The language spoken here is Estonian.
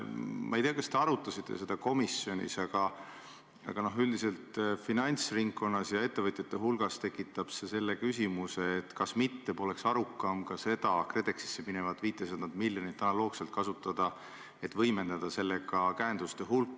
Ma ei tea, kas te arutasite seda komisjonis, aga üldiselt tekitab see finantsringkonnas ja ettevõtjate hulgas küsimuse, kas poleks mitte arukam ka seda KredExisse minevat 500 miljonit analoogselt kasutada, et võimendada käenduste hulka.